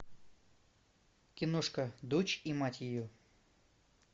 киношка дочь и мать ее